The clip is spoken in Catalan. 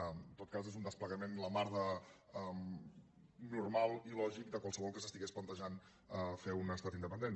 en tot cas és un desplegament la mar de normal i lògic de qualsevol que s’estigués plantejant fer un estat independent